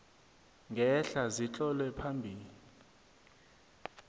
ngehla zitlolwe phambi